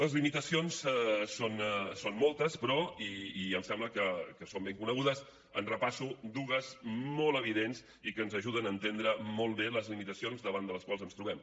les limitacions són moltes però i em sembla que són ben conegudes en repasso dues molt evidents i que ens ajuden a entendre molt bé les limitacions davant les quals ens trobem